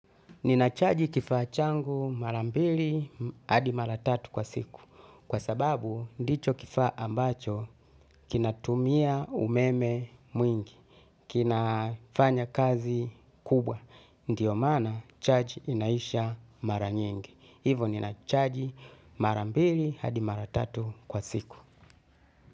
Ninacharge kifaa changu mara mbili hadi mara tatu kwa siku kwa sababu ndicho kifaa ambacho kinatumia umeme mwingi, kinafanya kazi kubwa, ndiyo maana charge inaisha mara nyingi, hivo ninacharge mara mbili hadi mara tatu kwa siku.